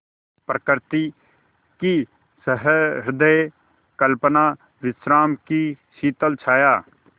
प्रकृति की सहृदय कल्पना विश्राम की शीतल छाया